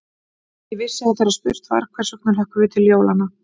Ég vissi að þegar spurt var: hvers vegna hlökkum við til jólanna?